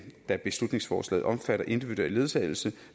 da beslutningsforslaget omfatter individuel ledsagelse